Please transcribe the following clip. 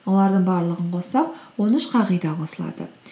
олардың барлығын қоссақ он үш қағида қосылады